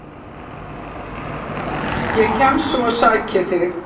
Ég kem svo og sæki þig.